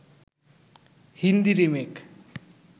Hindi remake